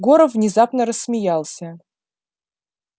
горов внезапно рассмеялся